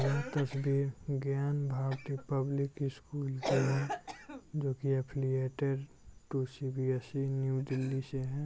यह तस्वीर Gyan Bharati public school की है जो की affiliated to CBSE new Delhi से है।